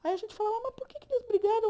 Aí a gente fala, mas por que é que eles brigaram?